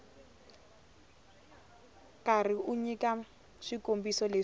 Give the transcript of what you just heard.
karhi u nyika swikombiso leswi